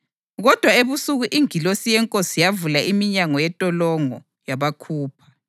Kodwa ebusuku ingilosi yeNkosi yavula iminyango yentolongo yabakhupha.